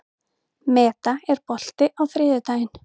Meda, er bolti á þriðjudaginn?